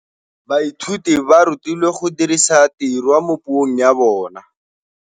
Baithuti ba rutilwe go dirisa tirwa mo puong ya bone.